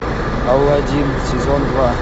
алладин сезон два